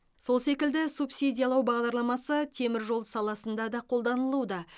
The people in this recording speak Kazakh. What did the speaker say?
сол секілді субсидиялау бағдарламасы темір жол саласында да қолданылуда